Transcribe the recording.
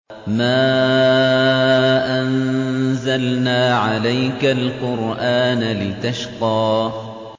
مَا أَنزَلْنَا عَلَيْكَ الْقُرْآنَ لِتَشْقَىٰ